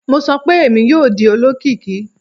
Mo sọ pe Emi yoo di olokiki!